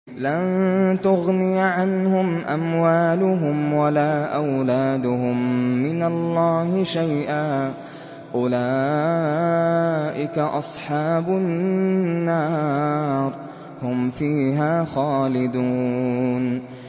لَّن تُغْنِيَ عَنْهُمْ أَمْوَالُهُمْ وَلَا أَوْلَادُهُم مِّنَ اللَّهِ شَيْئًا ۚ أُولَٰئِكَ أَصْحَابُ النَّارِ ۖ هُمْ فِيهَا خَالِدُونَ